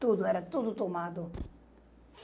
Tudo, era tudo tomado.